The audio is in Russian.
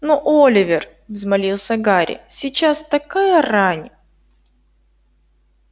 но оливер взмолился гарри сейчас такая рань